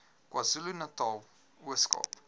kwazulunatal ooskaap